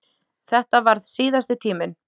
Þetta varð síðasti tíminn.